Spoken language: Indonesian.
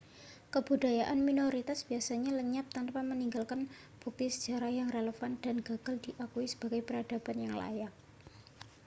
kebudayaan minoritas biasanya lenyap tanpa meninggalkan bukti sejarah yang relevan dan gagal diakui sebagai peradaban yang layak